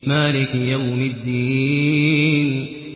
مَالِكِ يَوْمِ الدِّينِ